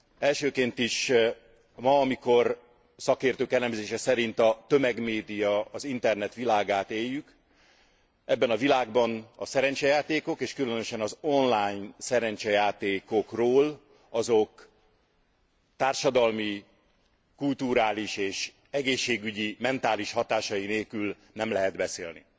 Elsőként is, ma, amikor szakértők elemzése szerint a tömegmédia, az internet világát éljük, ebben a világban a szerencsejátékok és különösen az online szerencsejátékokról azok társadalmi, kulturális és egészségügyi, mentális hatásai nélkül nem lehet beszélni.